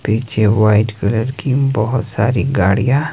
पीछे white colour की बहुत सारी गाड़ियां--